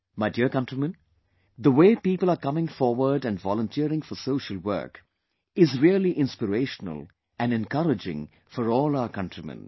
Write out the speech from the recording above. My dear countrymen, the way people are coming forward and volunteering for social works is really inspirational and encouraging for all our countrymen